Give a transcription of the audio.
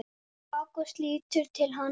Ágúst lítur til hans.